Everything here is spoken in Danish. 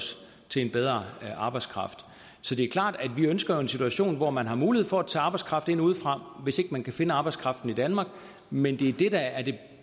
os til en bedre arbejdskraft så det er klart at vi ønsker en situation hvor man har mulighed for at tage arbejdskraft ind udefra hvis ikke man kan finde arbejdskraften i danmark men det er det der er det